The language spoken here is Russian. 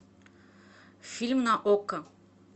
фильм на окко